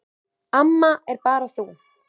Amma er bara þú.